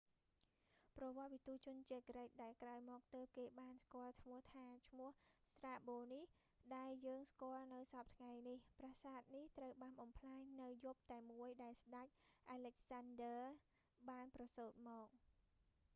ប្រវត្តិវិទូជនជាតិក្រិក ដែលក្រោយមកទើបគេបានស្គាល់ឈ្មោះថា ឈ្មោះស្រ្តាបូ strabo នេះ ដែលយើងស្គាល់នៅសព្វថ្ងៃនេះ ប្រាសាទនេះត្រូវបានបំផ្លាញនៅយប់តែមួយដែលស្តេច អាឡិចសានឌើ alexander the great បានប្រសូត្រមក